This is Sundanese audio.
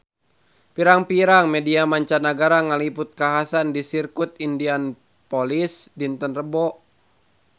Pirang-pirang media mancanagara ngaliput kakhasan di Sirkuit Indianapolis dinten Rebo kamari